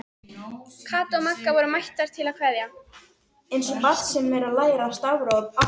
Kata og Magga voru mættar til að kveðja.